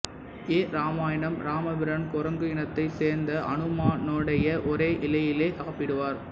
எ இராமாயணம் ராமபிரான் குரங்கு இனத்தை சோ்ந்த அனுமானோடேயே ஓரே இலையிலே சாப்பிடுவாா்